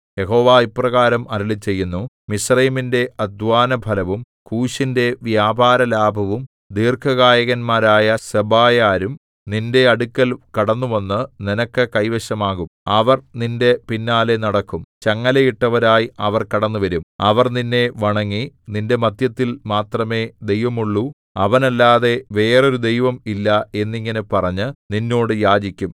യഹോവ ഇപ്രകാരം അരുളിച്ചെയ്യുന്നു മിസ്രയീമിന്റെ അദ്ധ്വാനഫലവും കൂശിന്റെ വ്യാപാരലാഭവും ദീർഘകായന്മാരായ സെബായരും നിന്റെ അടുക്കൽ കടന്നുവന്നു നിനക്ക് കൈവശമാകും അവർ നിന്റെ പിന്നാലെ നടക്കും ചങ്ങലയിട്ടവരായി അവർ കടന്നുവരും അവർ നിന്നെ വണങ്ങി നിന്റെ മദ്ധ്യത്തിൽ മാത്രമേ ദൈവമുള്ളൂ അവനല്ലാതെ വേറൊരു ദൈവവും ഇല്ല എന്നിങ്ങനെ പറഞ്ഞു നിന്നോട് യാചിക്കും